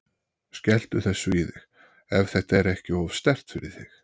Skelltu þessu í þig, ef þetta er ekki of sterkt fyrir þig.